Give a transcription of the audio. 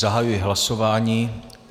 Zahajuji hlasování.